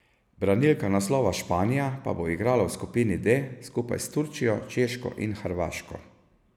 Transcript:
Branilka naslova Španija pa bo igrala v skupini D skupaj s Turčijo, Češko in Hrvaško.